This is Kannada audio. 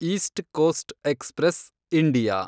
East Coast Express, India